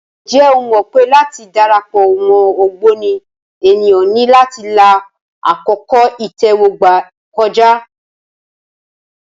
Ǹjẹ́ o mọ̀ pé láti dara pọ̀ mọ́ ògbóni, ènìyàn ní láti la àkókò ìtẹ́wọ́gbà kọjá.